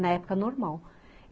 Na época normal.